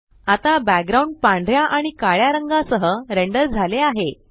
आता बॅकग्राउंड पांढऱ्या आणि काळ्या रंगा सह रेंडर झाले आहे